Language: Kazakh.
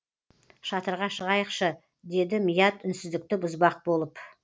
шатырға шығайықшы деді мият үнсіздікті бұзбақ болып